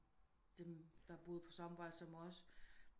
Dem der boede på samme vej som os